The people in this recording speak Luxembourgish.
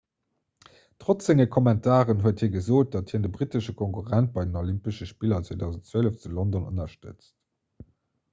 trotz senge kommentaren huet hie gesot datt hien de brittesche konkurrent bei den olympesche spiller 2012 zu london ënnerstëtzt